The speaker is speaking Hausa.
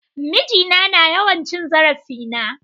Miji na na yawan cin zarafin na.